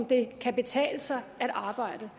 det kan betale sig at arbejde